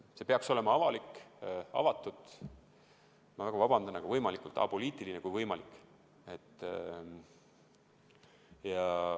See peaks olema avalik, avatud ja ma väga vabandan, aga ka nii apoliitiline, kui võimalik.